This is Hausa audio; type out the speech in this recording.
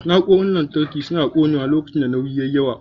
Na'urorin lantarki suna ƙonewa lokacin da nauyi ya yi yawa.